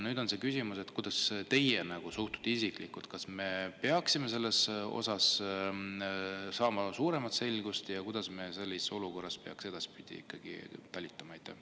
Nüüd on küsimus, kuidas teie isiklikult suhtute, kas me peaksime saama siin suuremat selgust ja kuidas me sellises olukorras peaksime edaspidi ikkagi talitama.